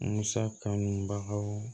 Musa kanu baw